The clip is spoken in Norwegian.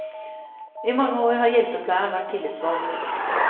I mange år har hjelpepleieren vært tillitsvalgt.